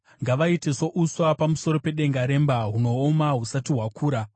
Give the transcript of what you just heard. Ngavaite souswa pamusoro pedenga remba, hunooma husati hwakura;